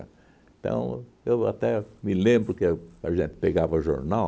Então, eu até me lembro que a a gente pegava jornal,